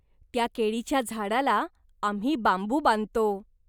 त्या केळीच्या झाडाला आम्ही बांबू बांधतो.